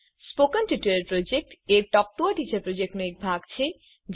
spoken tutorial project a talk to a teacher પ્રોજેક્ટનો એક ભાગ છે